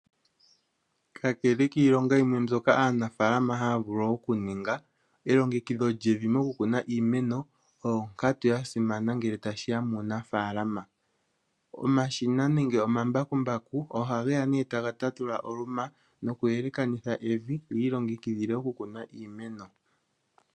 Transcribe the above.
Kakele kiilonga yimwe mbyoka aanafalama haa vulu oku ninga, elongekidho lyevi mokukuna iimeno oyo onkatu yasimana ngele tashiya muunafaalama. Omashina nenge omambakumbaku oha geya née taga tatula oluma noku yelekanitha evi yiilongekidhile okukuna iimeno.